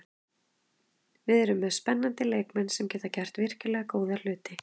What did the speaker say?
Við erum með spennandi leikmenn sem geta gert virkilega góða hluti.